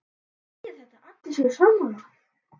Þýðir þetta að allir séu sammála?